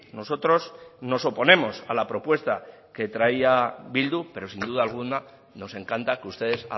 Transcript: nosotros nos oponemos a la propuesta que traía bildu pero sin duda alguna nos encanta que ustedes